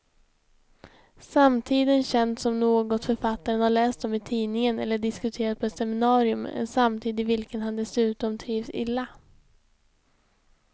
Samtiden känns som något författaren har läst om i tidningen eller diskuterat på ett seminarium, en samtid i vilken han dessutom trivs illa.